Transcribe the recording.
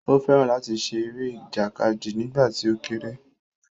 Ó fẹ́ràn láti ṣe eré ìjàkadì nígbà tí ó kéré